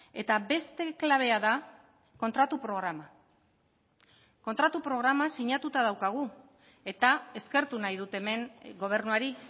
eta beste klabea da kontratu programa kontratu programa sinatuta daukagu eta eskertu nahi dut hemen gobernuari